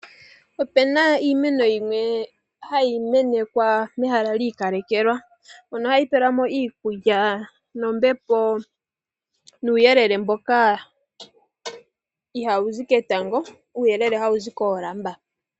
Opena iimeno yimwe hayi menekwa mehala li ikalekelwa mono hayi pelwa mo iikulya nombepo nuuyelele mboka ihaawu zi ketango, uuyelele hawu zi koolamba.